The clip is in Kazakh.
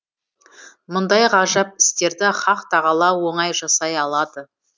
мұндай ғажап істерді хақ тағала оңай жасай алады